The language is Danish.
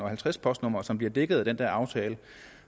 halvtreds postnumre som bliver dækket af den der aftale